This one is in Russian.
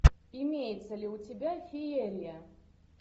имеется ли у тебя феерия